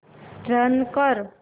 run कर